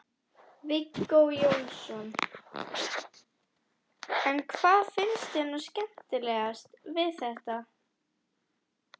Viggó Jónsson: En hvað finnst þér nú skemmtilegast við þetta?